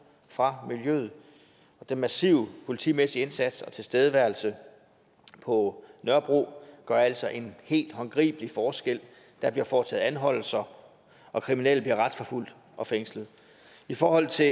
fra miljøet og den massive politimæssige indsats og tilstedeværelse på nørrebro gør altså en helt håndgribelig forskel der bliver foretaget anholdelser og kriminelle bliver retsforfulgt og fængslet i forhold til